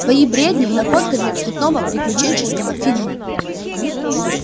твои бредни находка для цветного приключенческого фильма